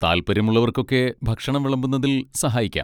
താല്പര്യമുള്ളവർക്കൊക്കെ ഭക്ഷണം വിളമ്പുന്നതിൽ സഹായിക്കാം.